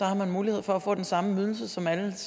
har man mulighed for at få den samme ydelse som alle